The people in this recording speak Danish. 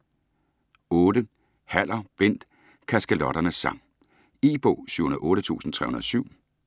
Haller, Bent: Kaskelotternes sang E-bog 708307